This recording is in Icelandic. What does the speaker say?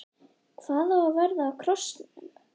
Hvað á að verða af krossinum?